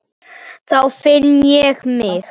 Biddu guð fyrir þér.